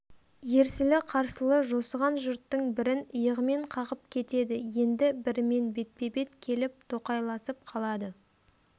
ерсілі-қарсылы жосыған жұрттың бірін иығымен қағып кетеді енді бірімен бетпе-бет келіп тоқайласып қалады